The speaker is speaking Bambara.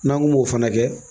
N'an ko m'o fana kɛ